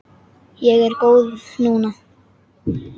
Ég er góð núna.